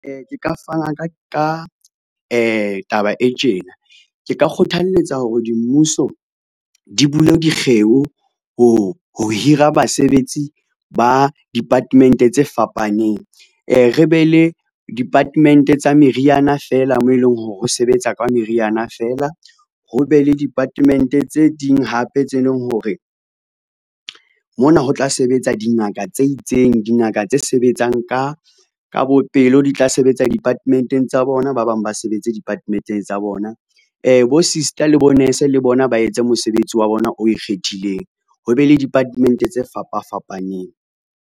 Ke ka fana ka taba e tjena ke ka kgothaletsa hore di mmuso di bule dikgeo ho hira basebetsi ba department tse fapaneng. Re be le department tsa meriana feela moo eleng hore ho sebetsa ka meriana fela, ho be le department tse ding hape tse leng hore mona ho tla sebetsa dingaka tse itseng, dingaka tse sebetsang ka bo pelo di tla sebetsa department-eng tsa bona, ba bang ba sebetse department tsa bona. Bo sister le bo nurse le bona ba etse mosebetsi wa bona o ikgethileng, ho be le department tse fapa fapaneng.